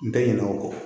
N tɛ ɲinɛ o kɔ